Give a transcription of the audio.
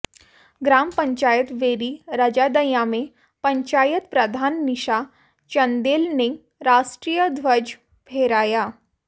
ग्राम पंचायत बैरी रजादयां में पंचायत प्रधान नीशा चंदेल ने राष्ट्रीय ध्वज फहराया